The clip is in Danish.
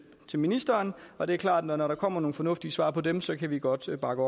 til ministeren og det er klart at når der kommer nogle fornuftige svar på dem så kan vi godt bakke